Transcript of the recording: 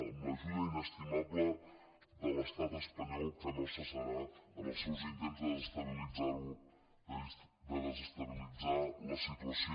amb l’ajuda inestimable de l’estat espanyol que no cessarà en els seus intents de desestabilitzar la situació